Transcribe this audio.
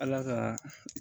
Ala ka